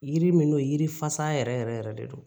Yiri min n'o yiri fasa yɛrɛ yɛrɛ de don